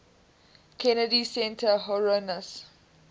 kennedy center honorees